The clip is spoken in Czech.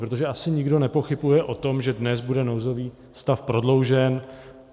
Protože asi nikdo nepochybuje o tom, že dnes bude nouzový stav prodloužen.